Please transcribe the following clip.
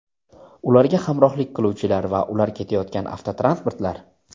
ularga hamrohlik qiluvchilar va ular ketayotgan avtotransportlar;.